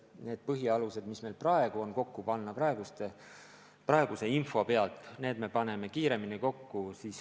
Me paneme põhialused lähtudes sellest infost, mis meil praegu on, kiiremini kokku.